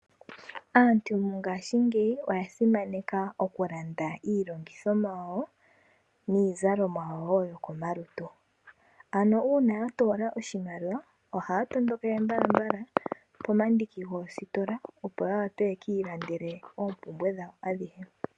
Aantu mongaashingeyi oya simaneka oku landa iilongithomwa yawo, niizalomwa woo yo komalutu. Ano uuna ya toola oshimaliwa ohaya tondokele mbalambala pomandiki goositola, opo ya wape yaka ilandele oompumbwe dhawo adhihe.